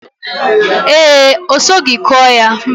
Ee, o sogi ku ya.